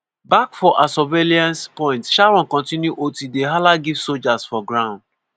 back for her surveillance point sharon continue ot dey hala give sojas for ground..